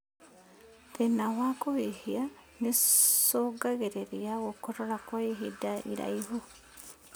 Thĩna wa kũhihia nĩũcũngagĩrĩria gũkorora kwa ihinda iraihu